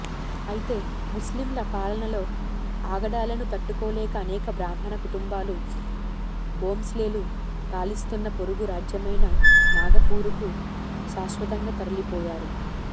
అయితే ముస్లింల పాలనలో ఆగడాలను తట్టుకోలేక అనేక బ్రాహ్మణ కుటుంబాలు భోంస్లేలు పాలిస్తున్న పొరుగు రాజ్యమైన నాగపూరుకు శాశ్వతంగా తరలిపోయారు